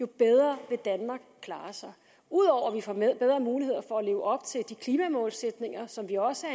bedre vil danmark klare sig ud over at vi får bedre mulighed for at leve op til de klimamålsætninger som vi også